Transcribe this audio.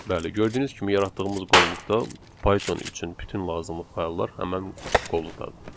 Bəli, gördüyünüz kimi yaratdığımız qovluqda Python üçün bütün lazımlı fayllar həmin qovluqdadır.